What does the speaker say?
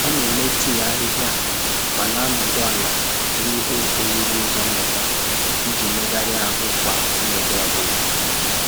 Ọ na eme tii ahịhịa ma na-anọdụ ala n'ihe owuwu ụzọ mbata iji megharịa ahụ kwa mgbede ọ bụla